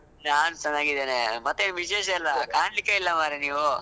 ನಾನ್ ಚೆನ್ನಾಗಿದ್ದೇನೆ, ಮತ್ತೆ ಏನ್ ವಿಶೇಷ ಎಲ್ಲಾ? ಕಾಣಲಿಕ್ಕೇ ಇಲ್ಲ ಮಾರೆ ನೀವು.